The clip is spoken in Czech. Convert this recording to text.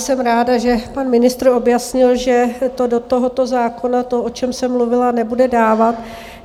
Jsem ráda, že pan ministr objasnil, že to do tohoto zákona, to, o čem jsem mluvila, nebude dávat.